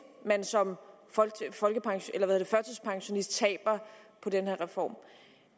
man som førtidspensionist taber på den her reform